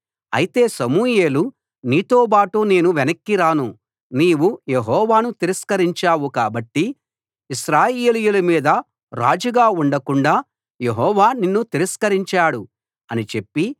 అయితే సమూయేలు నీతోబాటు నేను వెనక్కి రాను నీవు యెహోవాను తిరస్కరించావు కాబట్టి ఇశ్రాయేలీయుల మీద రాజుగా ఉండకుండాా యెహోవా నిన్ను తిరస్కరించాడు అని చెప్పి